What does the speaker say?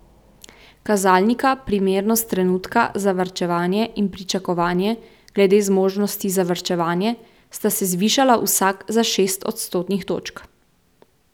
Kazalnika primernost trenutka za varčevanje in pričakovanje glede zmožnosti za varčevanje sta se zvišala vsak za šest odstotnih točk.